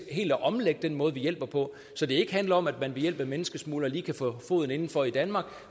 helt at omlægge den måde vi hjælper på så det ikke handler om at den ved hjælp af menneskesmuglere lige kan få foden indenfor i danmark